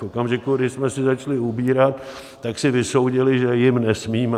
V okamžiku, kdy jsme si začali ubírat, tak si vysoudili, že jim nesmíme.